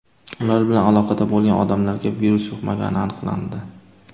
Ular bilan aloqada bo‘lgan odamlarga virus yuqmagani aniqlandi.